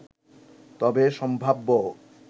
তবে সম্ভাব্য